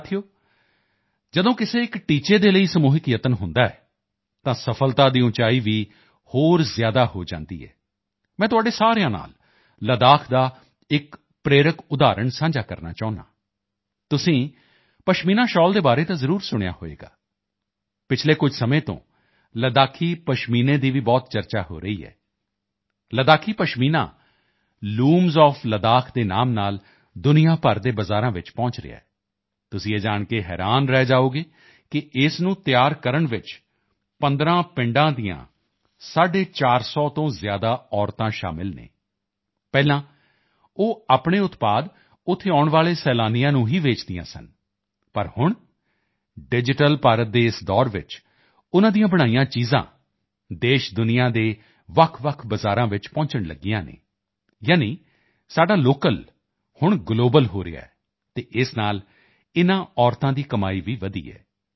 ਸਾਥੀਓ ਜਦੋਂ ਕਿਸੇ ਇੱਕ ਲਕਸ਼ ਦੇ ਲਈ ਸਮੂਹਿਕ ਪ੍ਰਯਾਸ ਹੁੰਦਾ ਹੈ ਤਾਂ ਸਫ਼ਲਤਾ ਦੀ ਉਚਾਈ ਵੀ ਹੋਰ ਜ਼ਿਆਦਾ ਹੋ ਜਾਂਦੀ ਹੈ ਮੈਂ ਤੁਹਾਡੇ ਸਾਰਿਆਂ ਨਾਲ ਲੱਦਾਖ ਦਾ ਇੱਕ ਪ੍ਰੇਰਕ ਉਦਾਹਰਣ ਸਾਂਝਾ ਕਰਨਾ ਚਾਹੁੰਦਾ ਹਾਂ ਤੁਸੀਂ ਪਸ਼ਮੀਨਾ ਛਾਲ ਦੇ ਬਾਰੇ ਤਾਂ ਜ਼ਰੂਰ ਸੁਣਿਆ ਹੋਵੇਗਾ ਪਿਛਲੇ ਕੁਝ ਸਮੇਂ ਤੋਂ ਲੱਦਾਖੀ ਪਸ਼ਮੀਨੇ ਦੀ ਭੀ ਬਹੁਤ ਚਰਚਾ ਹੋ ਰਹੀ ਹੈ ਲੱਦਾਖੀ ਪਸ਼ਮੀਨਾ ਲੂਮਜ਼ ਓਐਫ ਲੱਦਾਖ ਦੇ ਨਾਮ ਨਾਲ ਦੁਨੀਆ ਭਰ ਦੇ ਬਜ਼ਾਰਾਂ ਵਿੱਚ ਪਹੁੰਚ ਰਿਹਾ ਹੈ ਤੁਸੀਂ ਇਹ ਜਾਣ ਕੇ ਹੈਰਾਨ ਰਹਿ ਜਾਓਗੇ ਕਿ ਇਸ ਨੂੰ ਤਿਆਰ ਕਰਨ ਵਿੱਚ 15 ਪਿੰਡਾਂ ਦੀਆਂ 450 ਤੋਂ ਜ਼ਿਆਦਾ ਮਹਿਲਾਵਾਂ ਸ਼ਾਮਲ ਹਨ ਪਹਿਲਾਂ ਉਹ ਆਪਣੇ ਉਤਪਾਦ ਉੱਥੇ ਆਉਣ ਵਾਲੇ ਟੂਰਿਸਟਾਂ ਨੂੰ ਹੀ ਵੇਚਦੀਆਂ ਸਨ ਲੇਕਿਨ ਹੁਣ ਡਿਜੀਟਲ ਭਾਰਤ ਦੇ ਇਸ ਦੌਰ ਵਿੱਚ ਉਨ੍ਹਾਂ ਦੀਆਂ ਬਣਾਈਆਂ ਚੀਜ਼ਾਂ ਦੇਸ਼ਦੁਨੀਆ ਦੇ ਅਲੱਗਅਲੱਗ ਬਜ਼ਾਰਾਂ ਵਿੱਚ ਪਹੁੰਚਣ ਲਗੀਆਂ ਹਨ ਯਾਨੀ ਸਾਡਾ ਲੋਕਲ ਹੁਣ ਗਲੋਬਲ ਹੋ ਰਿਹਾ ਹੈ ਅਤੇ ਇਸ ਨਾਲ ਇਨ੍ਹਾਂ ਮਹਿਲਾਵਾਂ ਦੀ ਕਮਾਈ ਭੀ ਵਧੀ ਹੈ